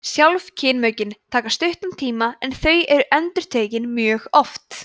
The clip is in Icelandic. sjálf kynmökin taka stuttan tíma en þau eru endurtekin mjög oft